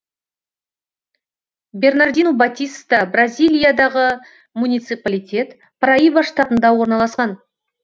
бернардину батиста бразилиядағы муниципалитет параиба штатында орналасқан